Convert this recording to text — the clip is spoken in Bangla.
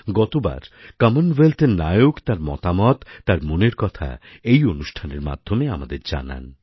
গতবার কমনওয়েলথএর নায়ক তার মতামত তাঁর মনের কথা এই অনুষ্ঠানের মাধ্যমে আমাদের জানান